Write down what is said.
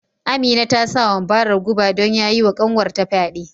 Amina ta sa wa Mubarak guba don ya yi wa kanwar ta fyade